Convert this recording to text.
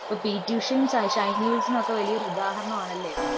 P. T. ഉഷയും, ഷ ഷൈനി വിൽസണൊക്കെ വലിയൊരു ഉദഹരണമാണല്ലേ.